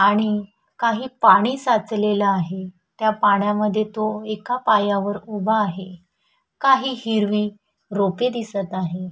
आणि काही पाणी साचलेल आहे त्या पाण्या मध्ये तो एका पायावर उभा आहे काही हिरवी रोपे दिसत आहे.